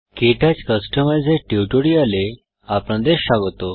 কে touch কস্টমাইজের টিউটোরিয়ালে আপনাদের স্বাগত